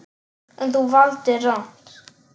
En, þú valdir rangt.